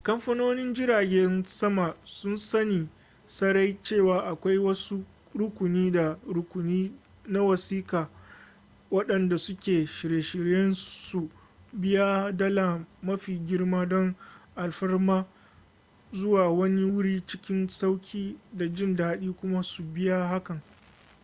kamfanonin jiragen sama sun sani sarai cewa akwai wasu rukuni na rukuni na wasiƙa waɗanda suke shirye su biya dala mafi girma don alfarmar zuwa wani wuri cikin sauri da jin daɗi kuma su biya hakan